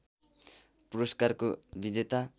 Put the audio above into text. पुरस्कारको विजेता